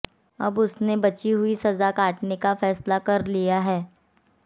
अब उसने बची हुई सजा काटने का फैसला कर लिया है